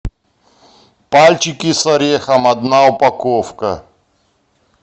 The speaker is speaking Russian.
пальчики с орехом одна упаковка